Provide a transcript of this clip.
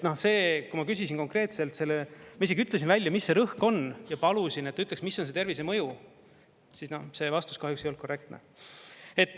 See, kui ma küsisin konkreetselt, ma isegi ütlesin välja, mis see rõhk on, ja palusin, et ta ütleks, mis on see tervisemõju, siis noh, see vastus kahjuks ei olnud korrektne.